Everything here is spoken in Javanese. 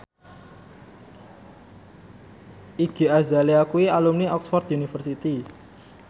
Iggy Azalea kuwi alumni Oxford university